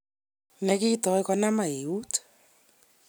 ne kitoi konama eut.